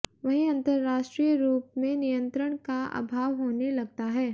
वहीं अंतरराष्ट्रीय रूप में नियंत्रण का अभाव होने लगता है